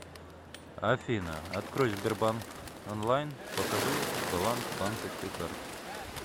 афина открой сбербанк онлайн покажи баланс банковской карты